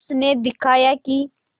उसने दिखलाया कि